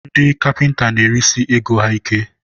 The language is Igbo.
ndị kapịnta na-erisi ego ha ike.